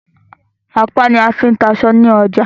Ọ̀pá ní a fí ń ta aṣọ ní ọjà.